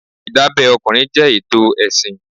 Ìdábẹ́ ọkùnrin jẹ́ ètò ẹ̀sìn.